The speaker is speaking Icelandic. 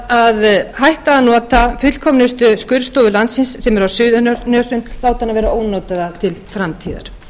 að hætta að nota fullkomnustu skurðstofu landsins sem er á suðurnesjum láta hana vera ónotaða til framtíðar